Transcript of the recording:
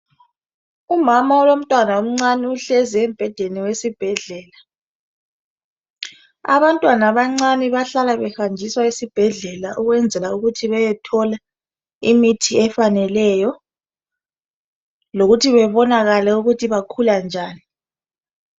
Umama lomtwana omncane uhlezi embhedeni wesibhedlela. Abantwana abancane bahlala behanjiswa esibhedlela ukwenzela imithi efaneleyo lokuthi bebonakale ukuthi bakhula njani.